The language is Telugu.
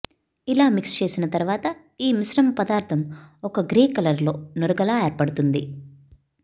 ఇలా మిక్స్ చేసిన తర్వాత ఈ మిశ్రమపదార్థం ఒక గ్రే కలర్లో నురగలా ఏర్పడుతుంది